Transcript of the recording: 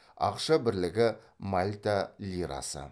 ақша бірлігі мальта лирасы